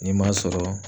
Ni m'a sɔrɔ